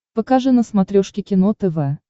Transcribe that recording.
покажи на смотрешке кино тв